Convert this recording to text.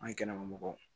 An kɛnɛmamɔgɔ